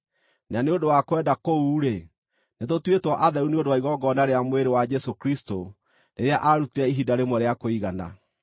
Na nĩ ũndũ wa kwenda kũu-rĩ, nĩtũtuĩtwo atheru nĩ ũndũ wa igongona rĩa mwĩrĩ wa Jesũ Kristũ rĩrĩa aarutire ihinda rĩmwe rĩa kũigana.